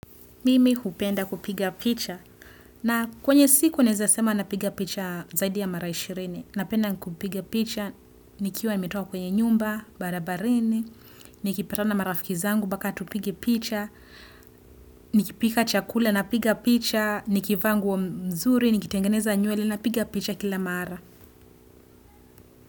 Mimi hupenda kupiga picha. Na kwenye siku naweza sema napiga picha zaidi ya mara ishirini. Napenda kupiga picha. Nikiwa nimetoka kwenye nyumba, barabarini. Nikipatana marafikizangu mpaka tupige picha. Nikipika chakule na piga picha. Nikivaa nguo wa mzuri, nikitengeneza nywele na piga picha kila mara.